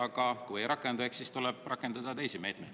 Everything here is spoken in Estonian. Aga kui ei rakendu, eks siis tuleb rakendada teisi meetmeid.